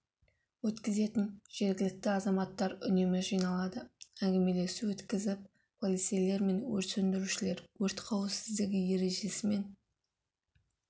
өткізетін жергілікті азаматтар үнемі жиналады әңгімелесу өткізіп полицейлер мен өрт сөндірушілер өрт қауіпсіздігі ережесі мен